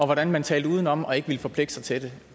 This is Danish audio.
hvordan man talte udenom og ikke ville forpligte sig til det